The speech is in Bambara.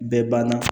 Bɛɛ banna